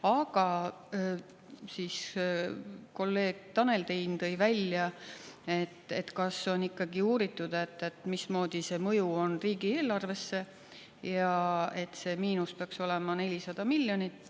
Aga kolleeg Tanel Tein tõi välja, et kas on ikkagi uuritud, mismoodi see mõju on riigieelarvesse, ja et see miinus peaks olema 400 miljonit.